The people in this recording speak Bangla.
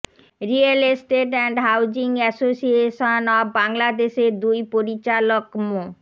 real estate and housing association of বাংলাদেশের দুই পরিচালক মো